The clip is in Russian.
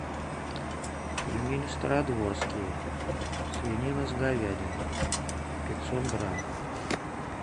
пельмени стародворские свинина с говядиной пятьсот грамм